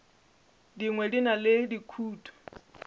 dingwe di na le dikutu